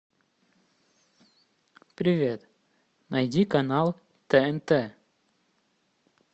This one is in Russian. привет найди канал тнт